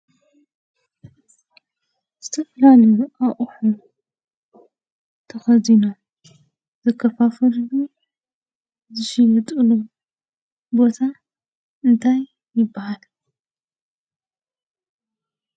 ዝተፈላለዩ አቁሑ ተከዚኖም ዝከፋፈልሉ፣ ዝሽየጥሉ ቦታ እንታይ ይበሃል?